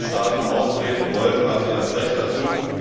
Wenn Staaten austreten wollen, haben sie das Recht dazu.